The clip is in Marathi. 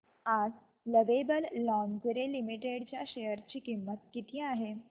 आज लवेबल लॉन्जरे लिमिटेड च्या शेअर ची किंमत किती आहे